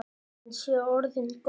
Hann sé orðinn góður.